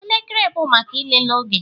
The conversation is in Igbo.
Elekere bụ maka ịlele oge